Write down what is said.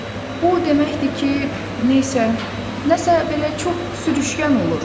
Bu o deməkdir ki, nəsə, nəsə belə çox sürüşgən olur.